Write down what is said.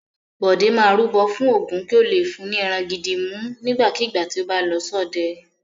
Bọ̀dé máa rúbọ fún Ògún kí ó le fún ní ẹran gidi mú nígbàkigbà tí ó bá lọ ṣọdẹ.